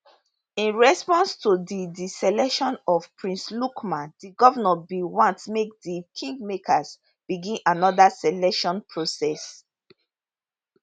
in response to di di selection of prince lukman di govnor bin want make di kingmakers begin anoda selection process